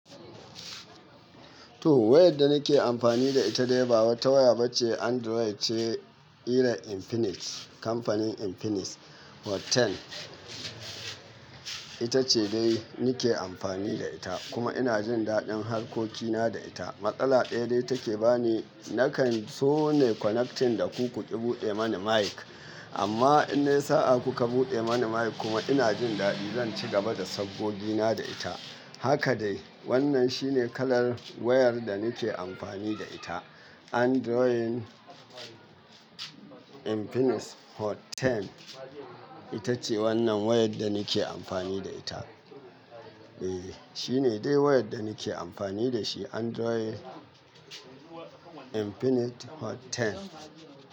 To, wayar da nake amfani da ita dai ba wata waya ba ce Android ce irin Infinix kamfanin Infinix Hot 10 ita ce dai nake amfani da ita kuma ina jin daɗin harkokina da ita. Matsala ɗaya dai take bani, nakan so ne connection da ku ku ƙi buɗe mani mic amma in sai a kuka buɗe mani mic kuma ina jin daɗi zan ci gaba da saggogi na da ita. Haka dai wannan shi ne kalar wayar da nake amfani da ita Android Infinix Hot 10 ita ce wannan wayar da nake amfani da ita. Eh, shi ne dai wayar da nake amfani da shi Android Infinix Hot 10.